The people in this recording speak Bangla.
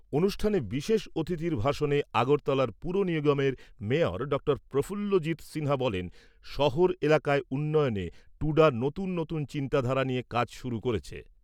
অনুষ্ঠানে বিশেষ অতিথির ভাষণে আগরতলার পুর নিগমের মেয়র ড প্রফুল্লজিৎ সিনহা বলেন, শহর এলাকার উন্নয়নে টুডা নতুন নতুন চিন্তাধারা নিয়ে কাজ শুরু করেছে।